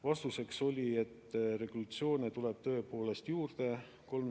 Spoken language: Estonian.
Vastuseks oli, et regulatsioone tuleb tõepoolest juurde.